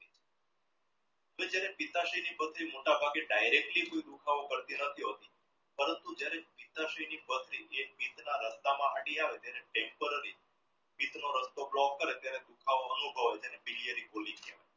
પથરી મોટાભાગે directly બો દુખાવો કરતી નથી પરંતુ જ્યારે પથરી જ્યારે રસ્તામાં હટી આવે છે ને temporary રસ્તો block ત્યારે દુખાવો ઓછો